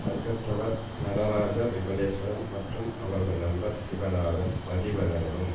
அங்கத்தவர் நடராஜா விமலேஸ்வரன் மற்றும் அவரது நண்பர் சிவநாதன் மதிவதனனும்